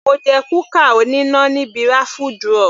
Mo jẹ kúkà oníná níbi raffle draw.